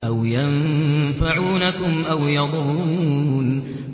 أَوْ يَنفَعُونَكُمْ أَوْ يَضُرُّونَ